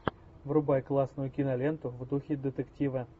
врубай классную киноленту в духе детектива